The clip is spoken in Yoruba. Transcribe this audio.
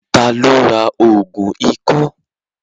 Ta ló ra ògùn ikọ́?